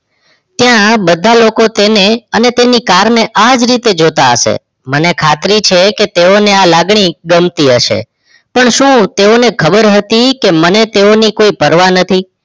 ત્યાં બધાં લોકો તેમને અને તેને car ને આ જ રીતે જોતાં હશે મને ખાતરી છે કે તેવો ને આ લાગણી ગમતી હશે પણ શું તેવો ને ખબર હતી કે મને તેવો ની કોઈ પરવા નથી